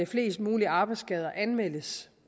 flest mulige arbejdsskader anmeldes